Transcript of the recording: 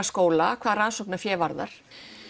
skóla hvað rannsóknarfé varðar